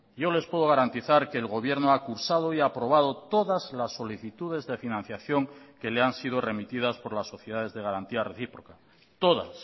yo les puedo garantizar que el gobierno ha cursado y aprobado todas las solicitudes de financiación que le han sido remitidas por las sociedades de garantía recíproca todas